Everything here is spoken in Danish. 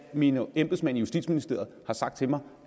mine embedsmænd i justitsministeriet har sagt til mig